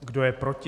Kdo je proti?